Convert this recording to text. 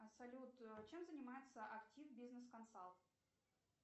салют чем занимается актив бизнес консалт